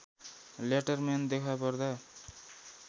लेटरम्यानमा देखापर्दा